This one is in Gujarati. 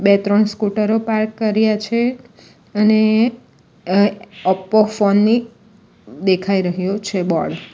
બે-ત્રણ સ્કુટરો પાર્ક કર્યા છે અને અ ઓપો ફોન ની દેખાઈ રહયો છે બોર્ડ .